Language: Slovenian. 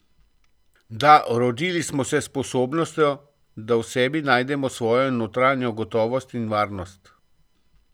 Da, rodili smo se s sposobnostjo, da v sebi najdemo svojo notranjo gotovost in varnost.